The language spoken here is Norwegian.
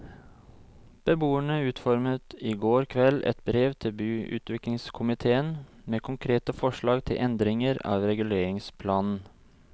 Beboerne utformet i går kveld et brev til byutviklingskomitéen med konkrete forslag til endringer av reguleringsplanen.